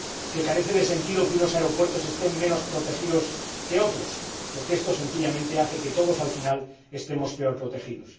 que carece de sentido que unos aeropuertos estén menos protegidos que otros porque esto, sencillamente, hace que todos, al final, estemos peor protegidos.